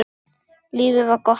Lífið var gott.